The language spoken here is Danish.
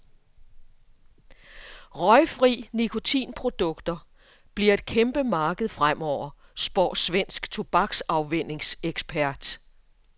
Røgfrie nikotinprodukter bliver et kæmpemarked fremover, spår svensk tobaksafvænningsekspert.